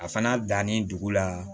A fana dannen dugu la